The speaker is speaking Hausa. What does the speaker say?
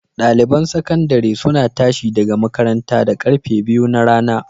Ɗaliban sakandare suna tashi daga makaranta da karfe biyu na rana.